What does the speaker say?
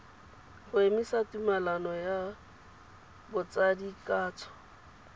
go emisa tumelelano ya botsadikatsho